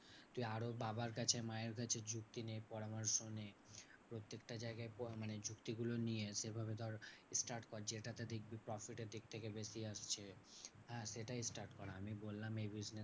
Two আরও বাবার কাছে মায়ের কাছে যুক্তি নে পরামর্শ নে প্রত্যেকটা জায়গায় মানে যুক্তিগুলো নিয়ে সেভাবে ধর start কর। যেটাতে দেখবি profit এর দিক থেকে বেশি আসছে হ্যাঁ? সেটাই start কর আমি বললাম এই business